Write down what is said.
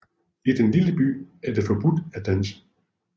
I den lille by er det forbudt at danse